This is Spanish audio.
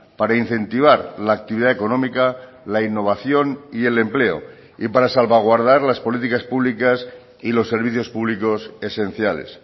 para incentivar la actividad económica la innovación y el empleo y para salvaguardar las políticas públicas y los servicios públicos esenciales